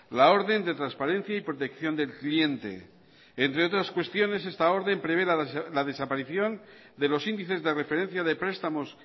la orden de transparencia y protección del cliente entre otras cuestiones esta orden prevé la desaparición de los índices de referencia de prestamos